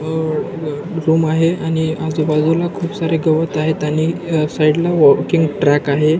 अ ब रूम आहे आणि आजूबाजूला खूप सारे गवत आहेत आणि साइडला वॅकिंग ट्रॅक आहे.